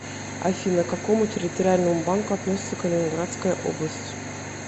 афина к какому территориальному банку относится калининградская область